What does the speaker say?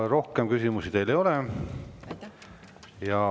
Rohkem küsimusi teile ei ole.